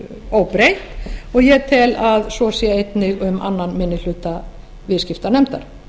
óbreytt og ég tel að svo sé einnig um aðra minni hluta viðskiptanefndar